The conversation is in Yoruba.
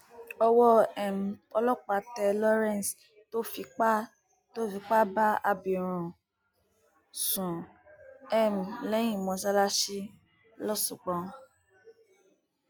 owó um ọlọpàá tẹ lawrence tó fipá tó fipá bá abirùn sùn um lẹyìn mọsálásì lọsgbọn